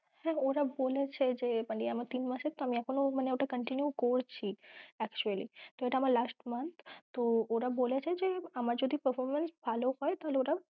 হ্যাঁ ওরা বলেছে যে মানে আমার তিন মাসের তো আমি এখনো মানে ওটা continue করছি এটা আমার last month ওরা বলেছে যে আমার যদি performance ভালো হয় ওরা